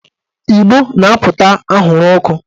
Ìgbó na-apụta anwụrụ ọkụ